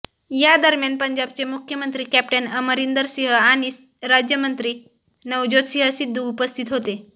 या दरम्यान पंजाबचे मुख्यमंत्री कॅप्टन अमरिंदर सिंह आणि राज्यमंत्री नवज्योत सिंह सिद्धू उपस्थित होते